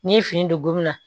N'i ye fini don gomina